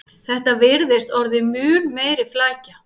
Þetta virðist orðið mun meiri flækja